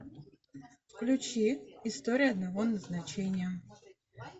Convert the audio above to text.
включи история одного назначения